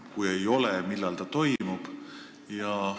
Kui ei ole, siis millal see toimub?